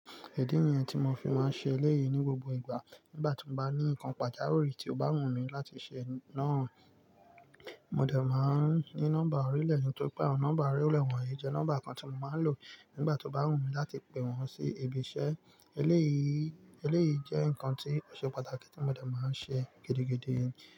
Idí nìyẹn tí mo fi máa ń ṣe eléyìí ní gbogbo ìgbà. Nígbà tí mo bá ní nǹkan pàjáwìrì tí ó bá wù mí láti ṣe náà, mo dẹ̀ máa ń ní nọ́mbà orílẹ̀ tori pe awọ́n Nọ́mbà orílẹ̀ wọ̀nyí jẹ́ nọ́mbà kan tí mo máa ń lò nígbà tó bá wù mí láti pe wọ́n sí ibi iṣẹ́. Eléyìí, eléyìí jẹ́ nǹkan tí ò ṣe pàtàkì tí mo dẹ̀ máa ń ṣe gidigidi.